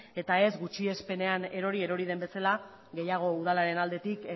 eta ez gutxiespenean erori erori den bezala gehiago udalaren aldetik